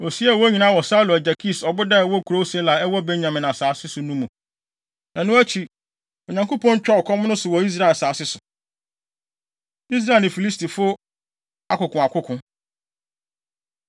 Osiee wɔn nyinaa wɔ Saulo agya Kis ɔboda a ɛwɔ kurow Sela a ɛwɔ Benyamin asase so no mu. Ɛno akyi, Onyankopɔn twaa ɔkɔm no so wɔ Israel asase so. Israel Ne Filistifo Akokoakoko